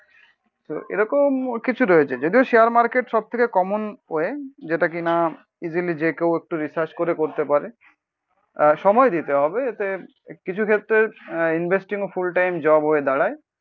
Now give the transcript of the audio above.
তো এরকম কিছু রয়েছে। যদিও শেয়ার মার্কেট সবথেকে কমন ওয়ে, যেটা কিনা ইসিলি যে কেউ একটু রিসার্চ করে করতে পারে। আহ সময় দিতে হবে, এতে কিছু ক্ষেত্রে আহ ইনভেস্টিংও ফুল টাইম জব হয়ে দাঁড়ায়।